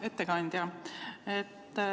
Hea ettekandja!